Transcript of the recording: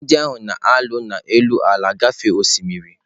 Ndị agha na-alụ n'elu ala gafee osimiri.